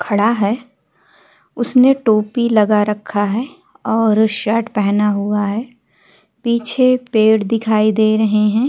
खड़ा है। उसने टोपी लगा रखा है और शर्ट पहना हुआ है। पीछे पेड़ दिखाई दे रहे हैं।